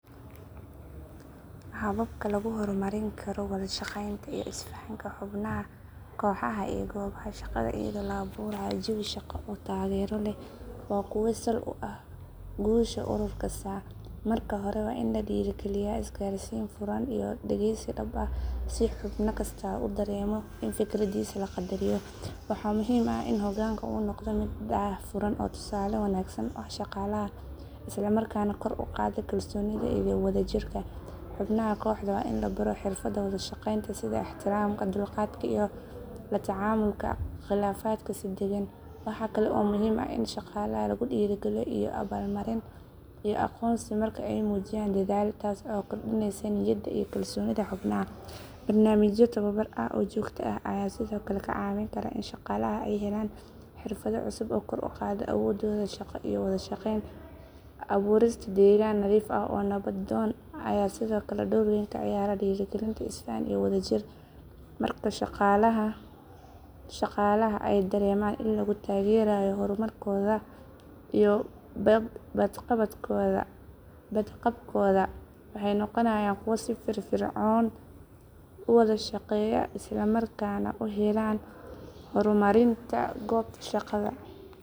Hababka lagu horumarin karo wada shaqeynta iyo isfahanka xubnaha kooxaha ee goobaha shaqada iyadoo la abuurayo jawi shaqo oo taageero leh waa kuwo sal u ah guusha urur kasta. Marka hore waa in la dhiirrigeliyaa isgaarsiin furan iyo dhegeysi dhab ah si xubna kasta uu dareemo in fikradiisa la qadariyo. Waxaa muhiim ah in hoggaanka uu noqdo mid daahfuran oo tusaale wanaagsan u ah shaqaalaha, isla markaana kor u qaada kalsoonida iyo wada jirka. Xubnaha kooxda waa in la baro xirfadaha wada shaqeynta sida ixtiraamka, dulqaadka, iyo la tacaamulka khilaafaadka si degan. Waxaa kale oo muhiim ah in shaqaalaha lagu dhiirrigeliyo abaalmarin iyo aqoonsi marka ay muujiyaan dadaal, taas oo kordhinaysa niyadda iyo kalsoonida xubnaha. Barnaamijyo tababar ah oo joogto ah ayaa sidoo kale kaa caawin kara in shaqaalaha ay helaan xirfado cusub oo kor u qaada awooddooda shaqo iyo wada shaqeyn. Abuurista deegaan nadiif ah oo nabdoon ayaa sidoo kale door weyn ka ciyaara dhiirrigelinta isfahan iyo wada jir. Marka shaqaalaha ay dareemaan in lagu taageerayo horumarkooda iyo badqabkooda, waxay noqonayaan kuwo si firfircoon u wada shaqeeya isla markaana u heelan horumarinta goobta shaqada.